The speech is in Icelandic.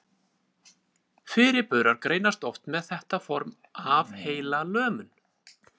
Fyrirburar greinast oft með þetta form af heilalömun.